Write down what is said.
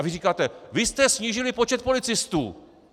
A vy říkáte: Vy jste snížili počet policistů!